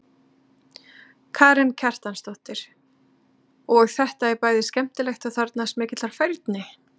Karen Kjartansdóttir: Og þetta er bæði skemmtilegt og þarfnast mikillar færni?